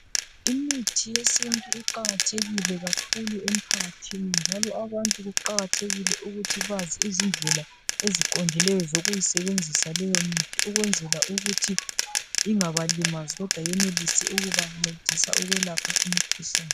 Imithi yesintu Iqakathekile kakhulu emphakathini njalo abantu kuqakathekile ukuthi bazi izindlela eziqondileyo zokuyisebenzisa leyo mithi ukwenzela ukuthi ingabalimazi kodwa yenelise ukubancedisa ukwelapha imikhuhlane